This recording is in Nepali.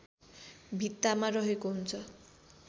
भित्तामा रहेको हुन्छ